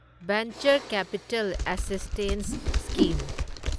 venture capital assistance scheme